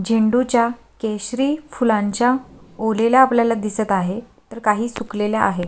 झेंडू च्या केशरी फुलांच्या ओलेल्या आपल्याला दिसत आहेत तर काही सुखलेल्या आहेत.